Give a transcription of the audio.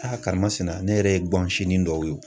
Aa karimasina ne yɛrɛ ye gan sinin dɔw ye.